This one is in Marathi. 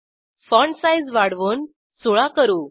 फाँटसाईज वाढवून 16 करू